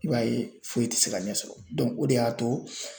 I b'a ye foyi ti se ka ne sɔrɔ dɔnku o de y'a to